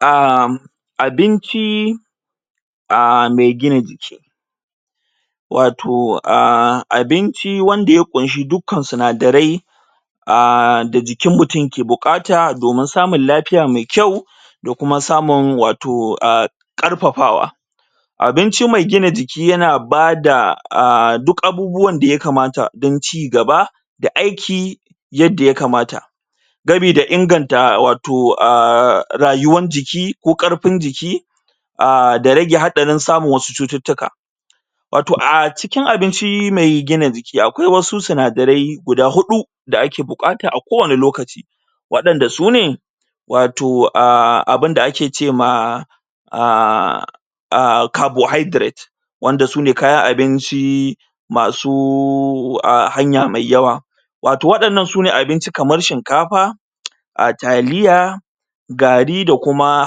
um Abinci aaa mai gina jiki wato um abinci wanda ya ƙunshi duka sinadarai da jikin mutum yake buƙata domin samun lafiya mai kyau da kuma samun wato karfafawa abinci mai gina jiki yana bada duk abubuwan da ya kamata don cigaba da aiki yadda ya kamata gami da inganta wato rayuwar jiki ko ƙarfin jiki um da rage haɗarin samun wasu cututtuka wato a cikin abinci mai gina jiki akwai wasu sinadare guda huɗu da ake buƙata a kowani lokaci waɗanda su ne wato um abinda ake ce ma um carbohydrate wanda su ne kayan abinci masu a hanya mai yawa wato waɗannan su ne abinci kaman shinkafa a taliya gari da kuma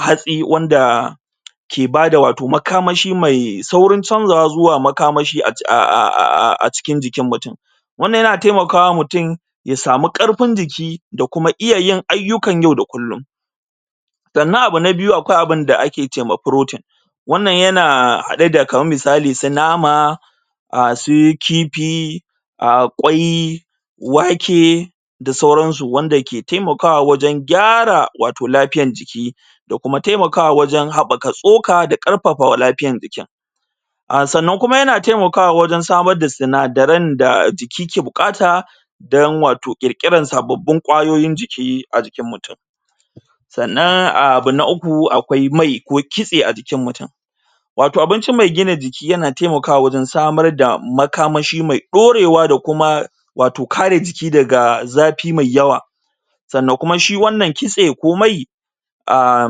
hatsi wanda ke bada wato makamashi mai saurin chanzawa zuwa makamashi a a cikin jikin mutum wannan yana taimaka wa mutum ya samu ƙarfin jiki da kuma iya yin ayyukan yau da kullum sannan abu na biyu akwai abin da ake ce ma protein wannan yana hada da kaman misali su nama um sai kifi kwai wake da sauran su wanda ke taimakawa wajen gyara lafiyan jiki da kuma taimakawa wajen haɓɓaka tsoka da kuma lafiyan jiki sannan kuma yana taimakawa wajen samar da sinadaren da jiki yake buƙata dan wato ƙirƙiran sababbin kwayoyin jiki a jikin mutum sannan abu na uku akwai mai ko kitse a jikin mutum wato abinci mai gina jiki yana taimakawa wajen samar da makamashi mai ɗorewa da kuma wato kare jiki daga zafi mai yawa sannan kuma shi wannan kitse ko mai um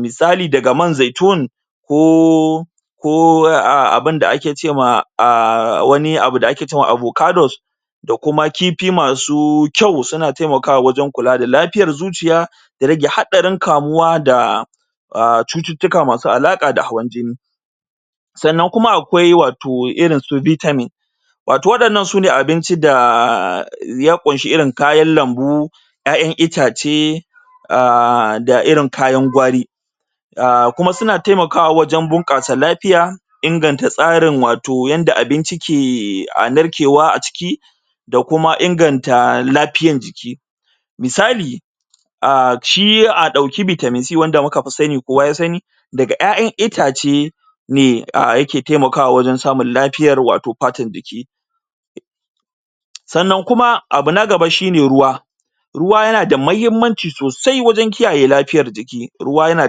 misali daga man zaitun ko ko a abinda da ake ce ma wani abun da ake ce ma avocados da kuma kifi masu kyau suna taimakawa wajen kula da lafiyar zuciya da rage haɗarin kamuwa da cututtuka ma su alaƙa da hawan jini sannan kuma akwai wato irin su vitamin wato waɗannan su ne abinci da ya ƙunshi irin kayan lambu ƴaƴan itace um da irin kayan gwari kuma suna taimakawa wajen bunƙasa lafiya inganta tsarin wato yanda abinci ke narkewa a ciki da kuma inganta lafiyar jiki misali shi a ɗauki vitamin c wanda muka fi sani kowa ya sani daga ƴayan itace mai a yake taimakawa wajen samun lafiyar wato fatar jiki sannan kuma abu na gaba shine ruwa ruwa yana da muhimmanci sosai wajen kiyaye lafiyar jiki ruwa yana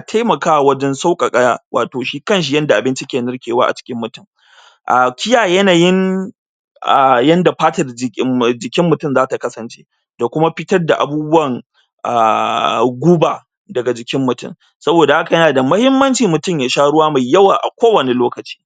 taimakawa wajen sauƙaka wato shi kanshi yanda bainci ke narkewa a cikin mutum kiyaye yanayin um yanda fatar ji jikin mutum za ta kasance da kuma fitar da abubuwan um guba daga jikin mutum saboda haka yanada muhimmanci mutum ya sha ruwa mai yawa a kowanne lokaci.